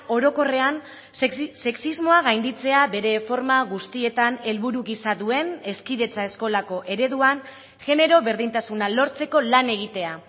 orokorrean sexismoa gainditzea bere forma guztietan helburu gisa duen hezkidetza eskolako ereduan genero berdintasuna lortzeko lan egitea